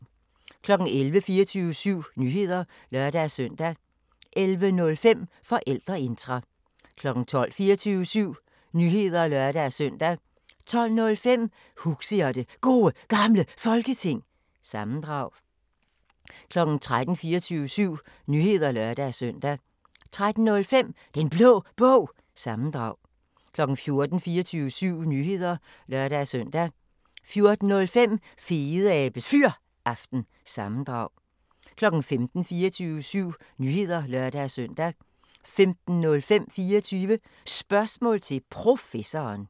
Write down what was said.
11:00: 24syv Nyheder (lør-søn) 11:05: Forældreintra 12:00: 24syv Nyheder (lør-søn) 12:05: Huxi og det Gode Gamle Folketing – sammendrag 13:00: 24syv Nyheder (lør-søn) 13:05: Den Blå Bog – sammendrag 14:00: 24syv Nyheder (lør-søn) 14:05: Fedeabes Fyraften – sammendrag 15:00: 24syv Nyheder (lør-søn) 15:05: 24 Spørgsmål til Professoren